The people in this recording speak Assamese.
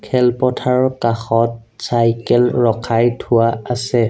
খেলপথাৰৰ কাষত চাইকেল ৰখাই থোৱা আছে।